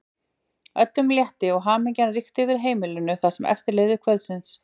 Öllum létti og hamingja ríkti yfir heimilinu það sem eftir lifði kvöldsins.